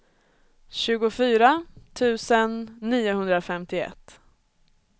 tjugofyra tusen niohundrafemtioett